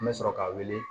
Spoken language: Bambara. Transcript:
An bɛ sɔrɔ ka wuli